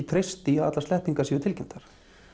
treysta því að allar sleppingar séu tilkynntar